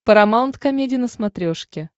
парамаунт комеди на смотрешке